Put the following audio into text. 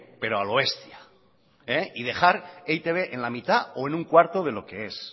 pero a lo bestia y dejar e i te be en la mitad o en un cuarto de lo que es